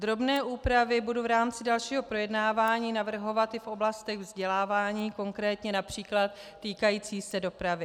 Drobné úpravy budu v rámci dalšího projednávání navrhovat i v oblastech vzdělávání, konkrétně například týkající se dopravy.